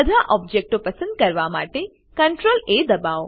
બધા ઓબ્જેક્ટો પસંદ કરવા માટે CTRL A દબાઓ